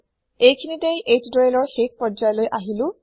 এইখিনিতেই এইটিউটৰিয়েলৰ শেষ প্ৰজ্যায়লৈ আহিলো